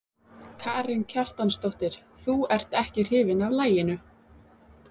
Karen Kjartansdóttir: Þú ert ekki hrifinn af laginu?